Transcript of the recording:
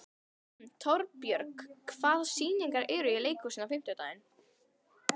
Torbjörg, hvaða sýningar eru í leikhúsinu á fimmtudaginn?